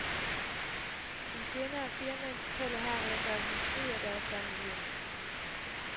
En kvinde og fire mænd fortæller her, hvad der drev dem ud af deres vante liv.